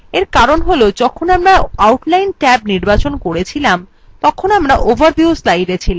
এর কারণ হল যখন আমরা outline ট্যাব নির্বাচন করেছিলাম তখন আমরা overview slide ছিলাম